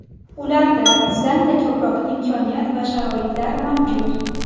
Ularda bizdanda ko‘proq imkoniyat va sharoitlar mavjud.